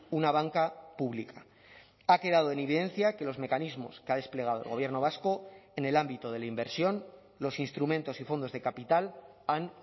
una banca pública ha quedado en evidencia que los mecanismos que ha desplegado el gobierno vasco en el ámbito de la inversión los instrumentos y fondos de capital han